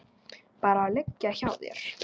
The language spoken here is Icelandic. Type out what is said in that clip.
Bara liggja hjá þér.